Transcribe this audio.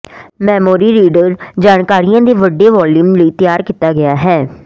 memory reader ਜਾਣਕਾਰੀ ਦੇ ਵੱਡੇ ਵਾਲੀਅਮ ਲਈ ਤਿਆਰ ਕੀਤਾ ਗਿਆ ਹੈ